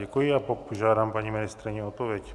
Děkuji a požádám paní ministryni o odpověď.